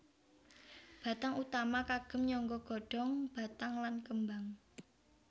Batang utama kagem nyangga godong batang lan kembang